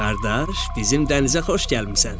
Qardaş, bizim dənizə xoş gəlmisən.